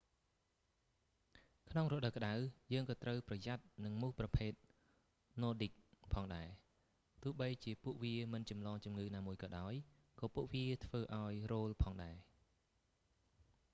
ក្នុងរដូវក្តៅ យើង​ក៏​ត្រូវ​ប្រយ័ត្ន​នឹង​មូសប្រភេទណ័រឌីកnordic ផងដែរ។ ទោះបីជាពួកវាមិនចម្លងជំងឺណាមួយក៏ដោយ ក៏ពួកវា​ធ្វើឱ្យរោលផងដែរ។